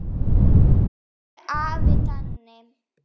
Elsku afi Danni.